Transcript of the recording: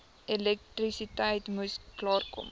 elektrisiteit moes klaarkom